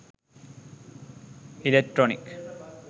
electronic